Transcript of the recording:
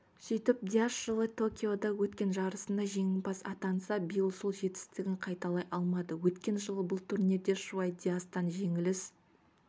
сөйтіп дияс жылы токиода өткен жарысында жеңімпаз атанса биыл сол жетістігін қайталай алмады өткен жылы бұл турнирде шуай диястан жеңіліс